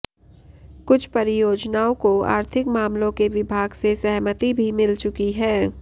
कुछ परियोजनाओं को आर्थिक मामलों के विभाग से सहमति भी मिल चुकी है